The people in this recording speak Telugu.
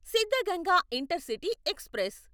Siddaganga intercity express